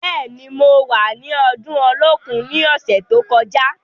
Bẹ́ẹ̀ni, mo wà ni ọdún Olókun ní ọ̀sẹ̀ tó kọjá.